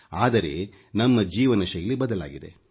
ಆದರೆ ನಮ್ಮ ಜೀವನ ಶೈಲಿ ಬದಲಾಗಿದೆ